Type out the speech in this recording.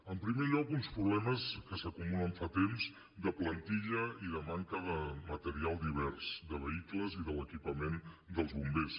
en primer lloc uns problemes que s’acumulen fa temps de plantilla i de manca de material divers de vehicles i de l’equipament dels bombers